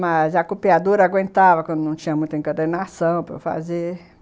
Mas a copiadora aguentava quando não tinha muita encadernação para fazer.